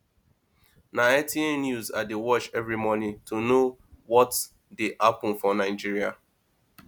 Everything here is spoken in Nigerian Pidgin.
na nta news i dey watch every morning to know what dey happen for nigeria